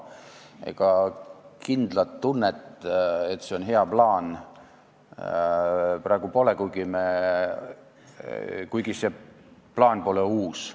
Ega kindlat tunnet, et see on hea plaan, praegu pole, kuigi see plaan pole uus.